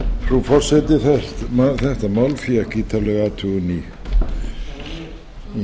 frú forseti þetta mál fékk ítarlega athugun í